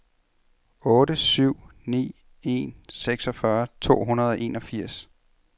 otte syv ni en seksogfyrre to hundrede og enogfirs